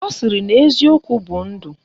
Ọ sịrị na eziokwu bụ ndụ